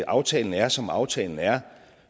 aftalen er som aftalen er